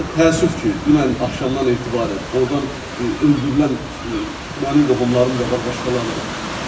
Və təəssüf ki, dünən axşamdan etibarən ordan öldürülən mənim qohumlarım da var, başqaları da.